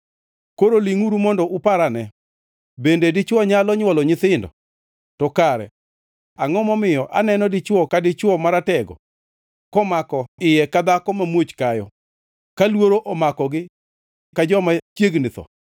Koro lingʼuru mondo uparane: Bende dichwo nyalo nywolo nyithindo? To kare angʼo momiyo aneno dichwo ka dichwo maratego, komako iye ka dhako mamuoch kayo, ka luoro omakogi ka joma chiegni tho?